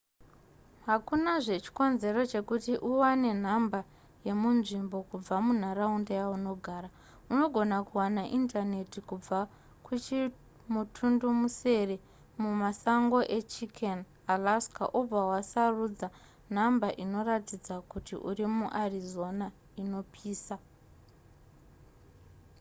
hakunazve chikonzero chekuti uwane nhamba yemunzvimbo kubva munharaunda yaunogara unogona kuwana indaneti kubva kuchimutundumusere mumasango echicken alaska obva wasarudza nhamba inoratidza kuti uri muarizona inopisa